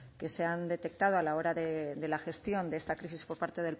que se han detectado a la hora de la gestión de esta crisis por parte